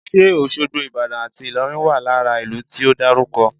Ṣe Òṣogbo, Ìbàdàn àti Ìlọrin wà lára ìlú tí o dárúkọ?